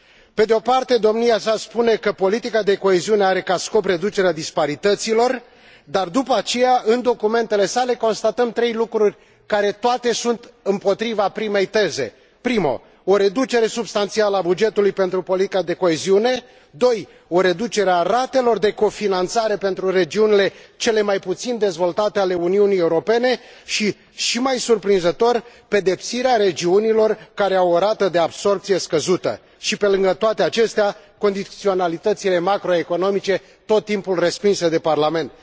Pe de o parte, domnia sa spune că politica de coeziune are ca scop reducerea disparităților, dar, după aceea, în documentele sale, constatăm trei lucruri care, toate, sunt împotriva primei teze o reducere substanțială a bugetului pentru politica de coeziune, o reducere a ratelor de cofinanțare pentru regiunile cel mai puțin dezvoltate ale Uniunii Europene și, și mai surprinzător, pedepsirea regiunilor care au o rată de absorbție scăzută și, pe lângă toate acestea, condiționalitățile macroeconomice tot timpul respinse de Parlament.